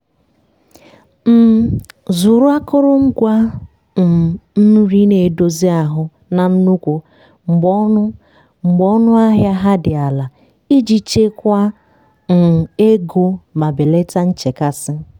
um zụrụ akụrụngwa um nri na-edozi ahụ na nnukwu mgbe ọnụ mgbe ọnụ ahịa ha dị ala iji chekwaa um ego ma belata nchekasị.